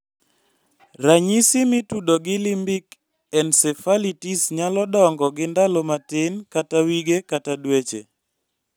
Ranyisi mitudo gi limbic encephalitis nyalo dongo gi ndalo matin kata wige kata dweche